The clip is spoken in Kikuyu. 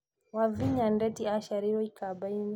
Wavinya Ndeti aaciarĩirwo ikamba-inĩ